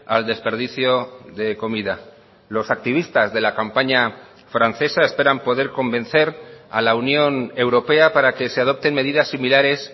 al desperdicio de comida los activistas de la campaña francesa esperan poder convencer a la unión europea para que se adopten medidas similares